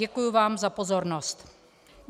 Děkuji vám za pozornost.